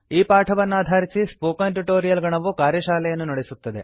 ಈ ಪಾಠವನ್ನಾಧಾರಿಸಿ spoken tutorial ಗಣವು ಕಾರ್ಯಶಾಲೆಯನ್ನು ನಡೆಸುತ್ತದೆ